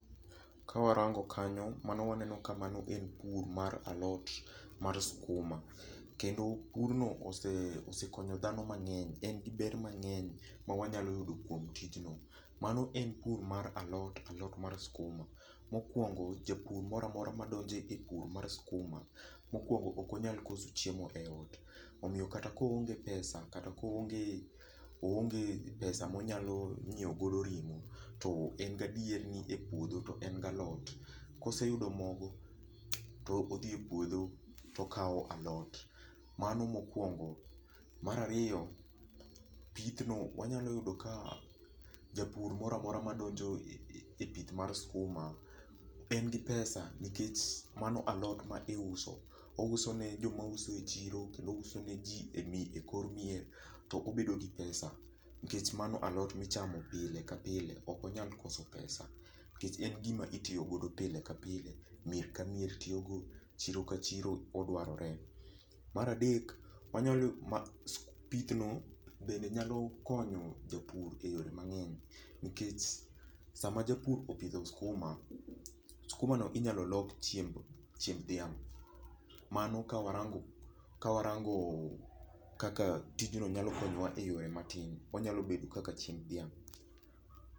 Kawarango kanyo, mano waneno ka mano en pur mar alot mar skuma. Kendo pur no osekonyo dhano mang'eny. En gi ber mang'eny ma wanyalo yudo kuom tijno. Mano en pur mar alot mar skuma. Mokuongo japur moro amora madonjo e pur mar skuma, mokwongo ok onyal koso chiemo e ot. Omiyo kata ko onge pesa, kata ko onge pesa monyalo nyiew godo ring'o to en gadier ni e puodho to en galot. Koseyudo mogo to odhi e puodho to okaw alot. Mano mokwongo. Mar ariyo, pith no wanyalo yudo ka japur moro amora ma donjo e pith mar skuma en gi pesa nikech mano alot ma iuso. Ouso ne joma uso e chiro kendo uso ne ji e kor mier to obedo gi pesa. Nikech mano alot michamo pile ka pile. O onyal koso pesa. Nikech en gima itiyogodo pile ka pile. Mier ka mier tiyogo. Chiro ka chiro odwarore. Mar adek, pith no bende nyalo konyo japur e yore mang'eny. Nikech sama japur opidho skuma, skuma no inyalo lok chiemb dhiamg'. Mano ka warango kaka tijno nyalo konyowa e yore matin. Onyalo bedo kaka chiemb dhiang'.